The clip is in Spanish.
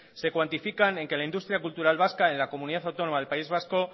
se cuantifican en que la industria cultural vasca en la comunidad autónoma del país vasco